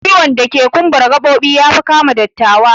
Ciwon dake kumbara gabobi yafi kama dattawa